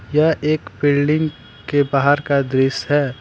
यह एक बिल्डिंग के बाहर का दृश है।